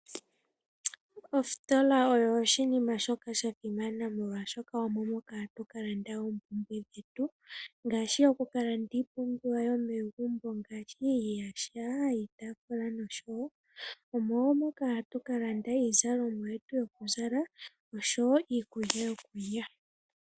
Ostola oyo oshinima shoka sha simana molwashoka omo moka hatu kalanda oompumbwe dhetu ngaashi oku kalanda oompumbwe dhomegumbo ngaashi iiyaha, iitaafula noshowo. Omo moka hatu kalanda iizalomwa yetu yokuzala oshowo iikulya yokulya.